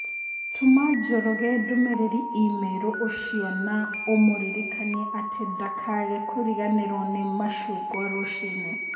Tũma Njoroge ndũmĩrĩri i-mīrū ũcio na ũmũririkanie atĩ ndakage kũriganĩrũo nĩ macungwa rũcinĩ.